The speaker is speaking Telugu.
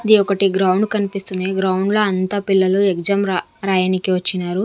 ఇది ఒకటి గ్రౌండ్ కన్పిస్తుంది ఈ గ్రౌండ్ లో అంతా పిల్లలు ఎగ్జామ్ ర రాయనీకి వచ్చినారు.